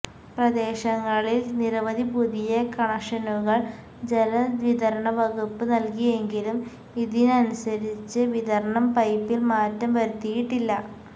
പ്രദേശങ്ങളിൽ നിരവധി പുതിയ കണക്ഷനുകൾ ജലവിതരണവകുപ്പ് നൽകിയെങ്കിലും ഇതിനനുസരിച്ച് വിതരണം പൈപ്പിൽ മാറ്റം വരുത്തിയിട്ടില്ല